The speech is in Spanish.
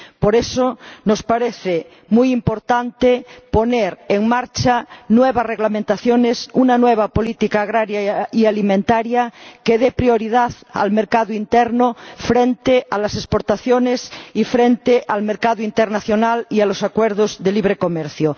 Por eso nos parece muy importante poner en marcha nuevas reglamentaciones, una nueva política agraria y alimentaria que dé prioridad al mercado interno frente a las exportaciones y frente al mercado internacional y a los acuerdos de libre comercio.